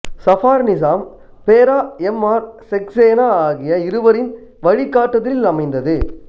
சஃபார் நிசாம் பேரா M R Saxena ஆகிய இருவரின் வழிகாட்டுதலில் அமைந்தது